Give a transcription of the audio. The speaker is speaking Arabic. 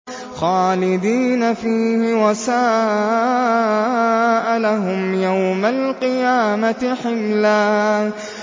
خَالِدِينَ فِيهِ ۖ وَسَاءَ لَهُمْ يَوْمَ الْقِيَامَةِ حِمْلًا